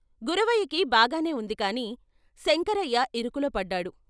గురవయ్యకి బాగానే ఉంది కాని శంకరయ్య ఇరుకులో పడ్డాడు.